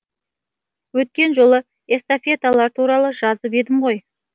өткен жолы эстафеталар туралы жазып едім ғой